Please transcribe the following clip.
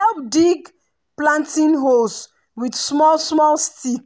dem dey help dig planting holes with small-small stick.